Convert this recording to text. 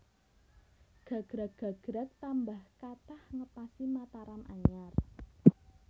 Gagrag gagrag tambah kathah ngepasi Mataram anyar